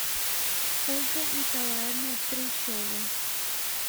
ольга николаевна трещова